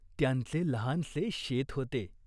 त्यांचे लहानसे शेत होते.